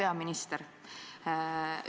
Hea peaminister!